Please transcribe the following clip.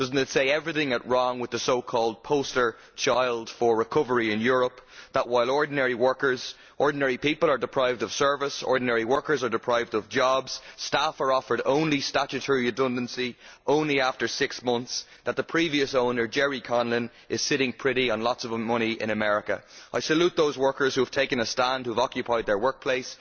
Doesn't it say everything that is wrong with the so called poster child for recovery in Europe that, while ordinary people are deprived of service, ordinary workers are deprived of jobs and staff are offered only statutory redundancy only after six months, the previous owner, Jerry Conlan, is sitting pretty on lots of money in America? I salute those workers who have taken a stand, who have occupied their workplace.